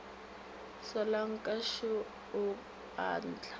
solanka šo o a ntlaba